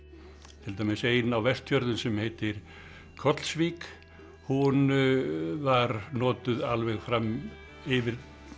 til dæmis ein á Vestfjörðum sem heitir Kollsvík hún var notuð alveg fram yfir